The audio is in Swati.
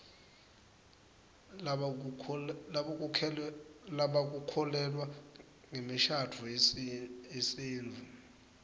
lebakukholelwa ngemishadvo yesitfu